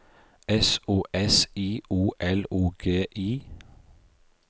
S O S I O L O G I